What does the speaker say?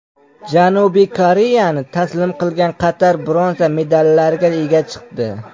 Janubiy Koreyani taslim qilgan Qatar bronza medallariga ega chiqdi.